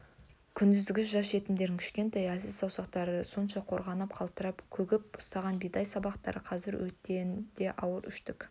күндізгі жас жетімдердің кішкентай әлсіз саусақтары сонша қорғанып қалтырап күгіп ұстаған бидай сабақтары қазір өрттен де ауыр өштік